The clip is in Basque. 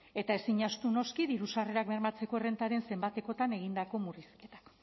eta ezin ahaztu noski diru sarrerak bermatzeko errentaren zenbatekotan egindako murrizketak